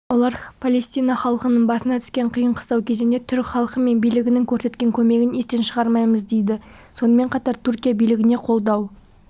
олар палестина халқының басына түскен қиын-қыстау кезеңде түрік халқы мен билігінің көрсеткен көмегін естен шығармаймыз дейді сонымен қатар түркия билігіне қолдау